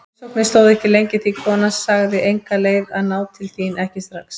Heimsóknin stóð ekki lengi því konan sagði enga leið að ná til þín, ekki strax.